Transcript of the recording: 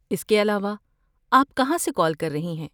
اس کے علاوہ، آپ کہاں سے کال کر رہی ہیں؟